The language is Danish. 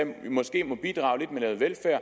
måske må bidrage lidt med noget velfærd